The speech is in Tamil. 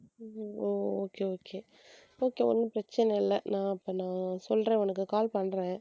உம் okay okay okay ஒண்ணும் பிரச்சனை இல்ல நான் அப்ப நான் சொல்றேன் உனக்கு call பண்றேன்